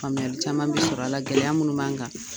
Faamuyali caman bɛ sɔrɔ a la gɛlɛya minnu b'an kan.